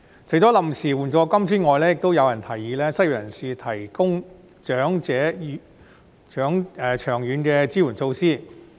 除了臨時援助金之外，亦有人提議為失業人士提供長遠的支援措施。